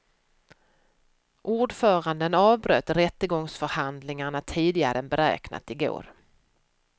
Ordföranden avbröt rättegångsförhandlingarna tidigare än beräknat i går.